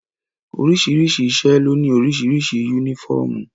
Oríṣiríṣi iṣẹ́ ló ní oríṣiríṣi yúnífọ̀mù